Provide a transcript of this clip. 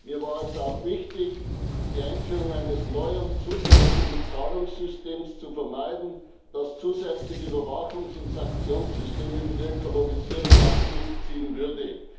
Mir war es auch wichtig, die Einführung eines neuen zusätzlichen Zahlungssystems zu vermeiden, das zusätzlich Überwachungs und Sanktionssysteme für die Ökologisierung nach sich ziehen würde.